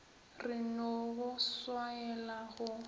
re no go swaela go